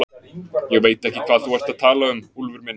Ég veit ekki hvað þú ert að tala um, Úlfur minn.